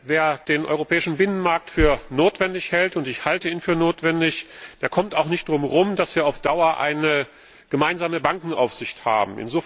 Wer den europäischen Binnenmarkt für notwendig hält und ich halte ihn für notwendig der kommt auch nicht darum herum, dass wir auf Dauer eine gemeinsame Bankenaufsicht haben.